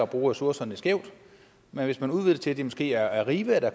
bruge ressourcerne skævt men hvis man udvider det til at det måske er arriva